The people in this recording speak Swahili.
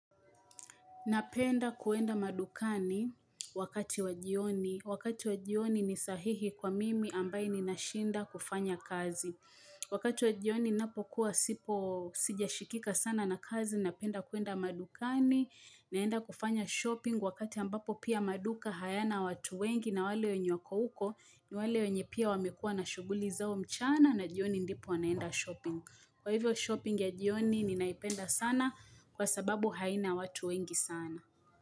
Napenda kuenda madukani wakati wa jioni. Wakati wajioni ni sahihi kwa mimi ambaye ni nashinda kufanya kazi. Wakati wa jioni napokuwa sipo sijashikika sana na kazi, napenda kuenda madukani, naenda kufanya shopping wakati ambapo pia maduka hayana watu wengi na wale wenye wako huko ni wale wenye pia wamekuwa na shuguli zao mchana na jioni ndipo wanaenda shopping. Kwa hivyo shopping ya jioni ni naipenda sana kwa sababu haina watu wengi sana.